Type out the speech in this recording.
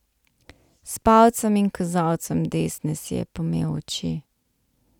S palcem in kazalcem desne si je pomel oči.